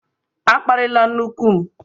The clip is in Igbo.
A kparịla nne nku m!